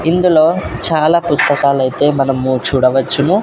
ఇందులో చాలా పుస్తకాలయితే మనము చూడవచ్చును.